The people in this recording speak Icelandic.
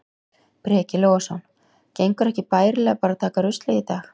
Breki Logason: Gengur ekki bærilega bara að taka ruslið í dag?